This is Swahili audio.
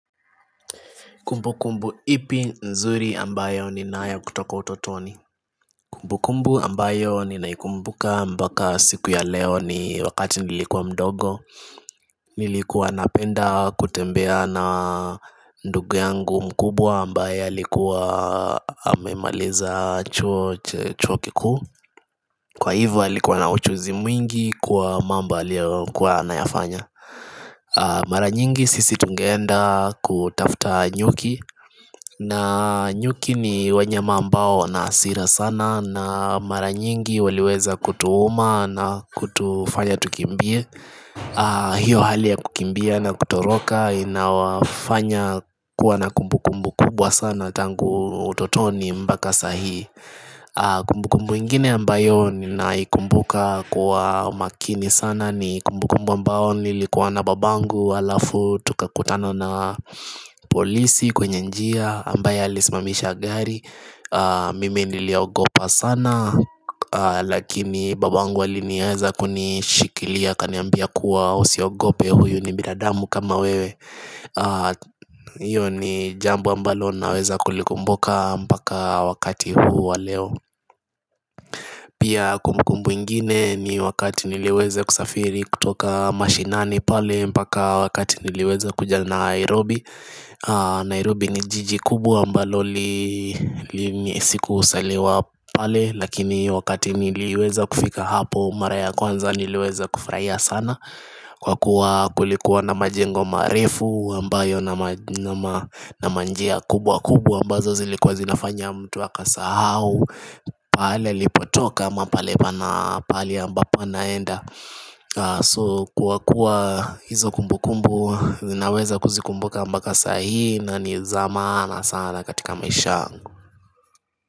Kumbu kumbu ipi nzuri ambayo ninayo kutoka utotoni. Kumbu kumbu ambayo ninaikumbuka mpaka siku ya leo ni wakati nilikuwa mdogo Nilikuwa napenda kutembea na ndugu yangu mkubwa ambaye alikuwa amemaliza chuo kikuu, kwa hivyo alikuwa na ujuzi mwingi kwa mambo aliyokuwa anayafanya Mara nyingi sisi tungeenda kutafta nyuki na nyuki ni wanyama ambao wana hasira sana, na mara nyingi waliweza kutuuma na kutufanya tukimbie hiyo hali ya kukimbia na kutoroka inawafanya kuwa na kumbu kumbu kubwa sana tangu utotoni mpaka saa hii Kumbu kumbu ingine ambayo ninaikumbuka kwa makini sana ni kumbu kumbu ambao nilikuwa na babangu halafu tukakutana na polisi kwenye njia ambaye alisimamisha gari Mimi niliogopa sana lakini babangu aliweza kunishikilia akaniambia kuwa usiogope huyu ni binadamu kama wewe hiyo ni jambo ambalo naweza kulikumbuka mpaka wakati huu wa leo Pia kumbu kumbu ingine ni wakati niliweza kusafiri kutoka mashinani pale mpaka wakati niliweza kuja Nairobi Nairobi ni jiji kubwa ambalo sikuzaliwa pale lakini wakati niliweza kufika hapo mara ya kwanza niliweza kufurahia sana Kwa kuwa kulikuwa na majengo marefu na njia kubwa kubwa ambazo zilikuwa zinafanya mtu akasahau pahali alipotoka ama pahali ambapo anaenda. So kwa kuwa hizo kumbu kumbu ninaweza kuzikumbuka mpaka saa hii na ni za maana sana katika maisha yangu.